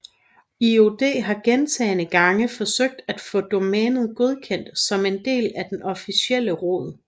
IOD har gentagne gange forsøgt at få domænet godkendt som en del af den officielle rod